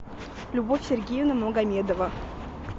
любовь сергеевна магомедова